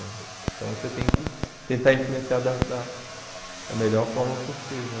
Então você tem que tentar influenciar da da da melhor forma possível.